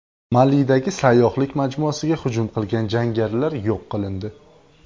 Malidagi sayyohlik majmuasiga hujum qilgan jangarilar yo‘q qilindi.